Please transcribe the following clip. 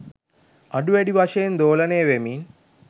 අඩු වැඩි වශයෙන් දෝලනය වෙමින්